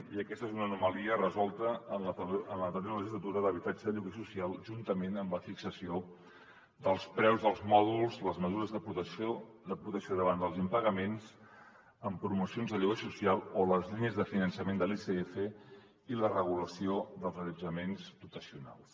i aquesta és una anomalia resolta en l’anterior legislatura en habitatge de lloguer social juntament amb la fixació dels preus dels mòduls les mesures de protecció davant dels impagaments amb promocions de lloguer social o les línies de finançament de l’icf i la regulació dels allotjaments dotacionals